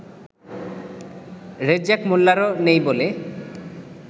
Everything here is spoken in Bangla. রেজ্জাক মোল্লারও নেই বলে